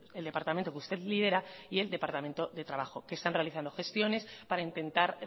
el departamento que usted lidera y el departamento de trabajo que están realizando gestiones para intentar